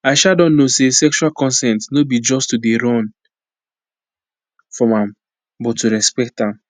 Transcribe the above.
i um don know say sexual consent no be to just dey run from am but to respect am